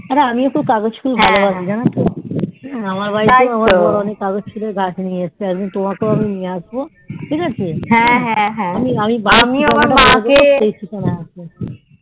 অরে আমিও কাগজ ফুল ভালোবাসি জানো তো আমার বাড়িতেও ওই রকম কাগজ ফুলের গাছ নিয়ে এসেছি আমি তোমার জন্যেও নিয়ে আসবো ঠিক আছে